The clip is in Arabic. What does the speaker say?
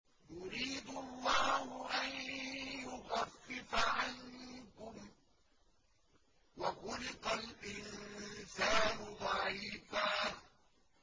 يُرِيدُ اللَّهُ أَن يُخَفِّفَ عَنكُمْ ۚ وَخُلِقَ الْإِنسَانُ ضَعِيفًا